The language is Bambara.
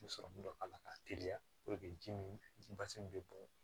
Sɔrɔmu dɔ k'a la k'a teliya ji min ji basi min bɛ bɔn